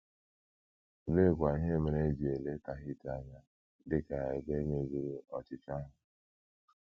Oleekwa ihe mere e ji ele Tahiti anya dị ka ebe mezuru ọchịchọ ahụ?